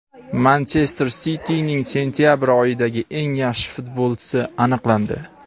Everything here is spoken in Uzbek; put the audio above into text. "Manchester Siti"ning sentyabr oyidagi eng yaxshi futbolchisi aniqlandi.